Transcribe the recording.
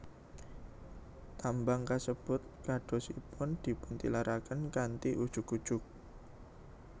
Tambang kasebut kadosipun dipuntilaraken kanthi ujug ujug